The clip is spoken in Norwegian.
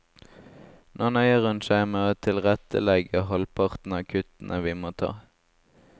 Nå nøyer hun seg med å tilrettelegge halvparten av kuttene vi må ta.